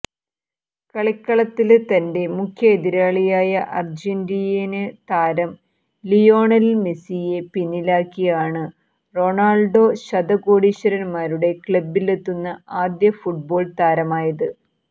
കളിക്കളത്തില് തന്റെ മുഖ്യ എതിരാളിയായ അര്ജന്റീനിയന് താരം ലിയോണല് മെസിയെ പിന്നിലാക്കിയാണ് റൊണാള്ഡോ ശതകോടീശ്വരന്മാരുടെ ക്ലബ്ബിലെത്തുന്ന ആദ്യ ഫുട്ബോള് താരമായത്